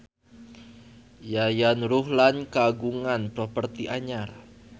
Yayan Ruhlan kagungan properti anyar